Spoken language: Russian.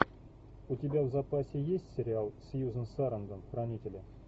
у тебя в запасе есть сериал сьюзан сарандон хранители